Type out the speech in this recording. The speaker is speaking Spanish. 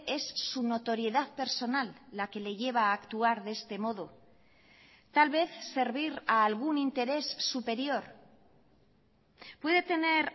es su notoriedad personal la que le lleva a actuar de este modo tal vez servir a algún interés superior puede tener